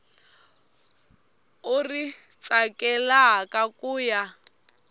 u ri tsakelaka ku ya